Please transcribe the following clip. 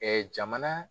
jamana